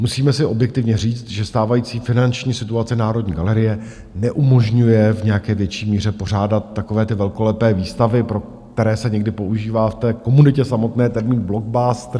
Musíme si objektivně říct, že stávající finanční situace Národní galerie neumožňuje v nějaké větší míře pořádat takové ty velkolepé výstavy, pro které se někdy používá v té komunitě samotné termín blockbustery.